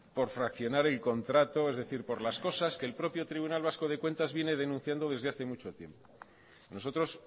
por fraccionar el contrato es decir por las cosas que el propio tribunal vasco de cuentas viene denunciando desde hace mucho tiempo a nosotros